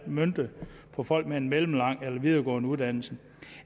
møntet på folk med en mellemlang eller videregående uddannelse